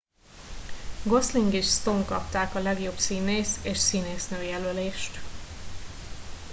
gosling és stone kapták a legjobb színész és színésznő jelölést